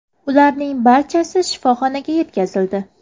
Ularning barchasi shifoxonaga yetkazildi.